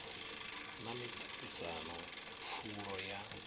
na miṱa ṱisano pfulo ya